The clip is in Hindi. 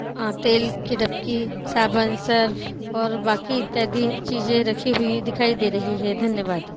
आ तेल की धबकी साबुन सर्फ़ ओर बाकी इत्यादि चीजें रखी हुई दिखाई दे रही है धन्यवाद।